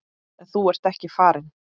En þú ert ekki farinn.